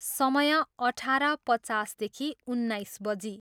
समय, अठार पचास देखि उन्नाइस बजी।